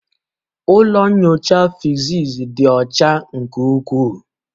Ụlọ nyocha physics dị ọcha nke ukwuu